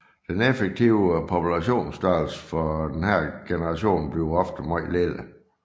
Den effektive populationsstørrelse for denne generation bliver ofte meget lille